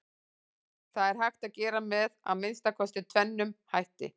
Það er hægt að gera með að minnsta kosti tvennum hætti.